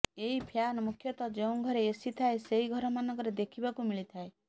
ଏହି ଫ୍ୟାନ ମୁଖ୍ୟତଃ ଯେଉଁ ଘରେ ଏସି ଥାଏ ସେହି ଘରମାନଙ୍କରେ ଦେଖିବାକୁ ମିଳିଥାଏ